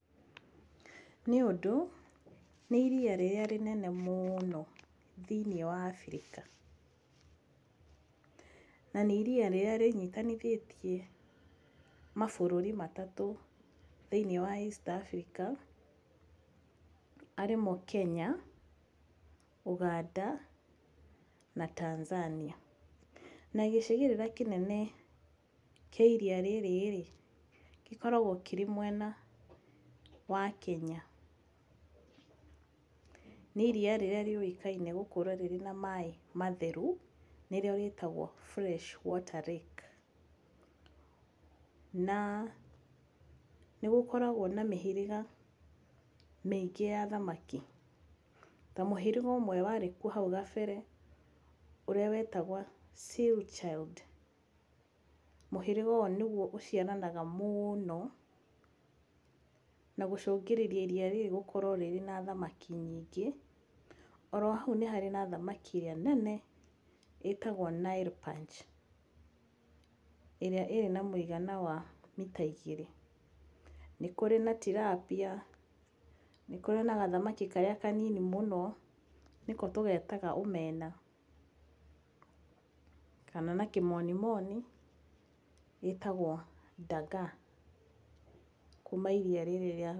Nĩũndũ nĩ iria rĩrĩa rĩnene mũno thĩinĩ wa Afrika. Na nĩ iria rĩrĩa rĩnyitithanĩtie mabũrũri matatũ thĩinĩ wa East Africa arĩmo Kenya Ũganda na Tanzania. Na gĩcigĩrĩra kĩnene kĩa iria rĩrĩ rĩ gĩkoragwo kĩrĩ mwena wa Kenya. Nĩ iria rĩrĩa rĩũĩkaine gũkorwo na maaĩ matheru nĩrĩo rĩũĩkaine ta fresh water lake. Na nĩrĩkoragwo na mĩhĩrĩga mĩingĩ ya thamaki ta mũhĩrĩga ũmwe warĩ kuo hau kabere ũrĩa wetagwo Silchild mũhĩrĩga ũrĩa ũciaranaga mũno na gũcũngĩrĩria iria rĩrĩ gũkorwo na thamaki nyingĩ. Oro hau nĩ harĩ na thamaki ĩrĩa nene ĩtagwo Nile Perch ĩrĩa ĩna mũigana wa mita igĩrĩ. Nĩ kũrĩ na Tilapia. Nĩ kũrĩ na gathamaki karĩa kanini mũno nĩko tũgetaga omena kana na kĩmoni moni ĩtagwo Dagaa kuma iria rĩrĩ.